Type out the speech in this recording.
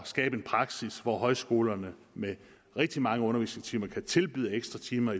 skabe en praksis hvor højskolerne med rigtig mange undervisningstimer kan tilbyde ekstra timer